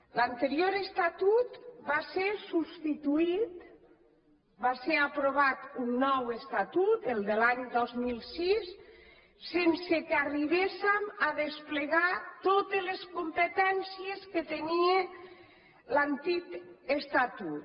l’anterior estatut va ser substituït va ser aprovat un nou estatut el de l’any dos mil sis sense que arribéssem a desplegar totes les competències que tenia l’antic estatut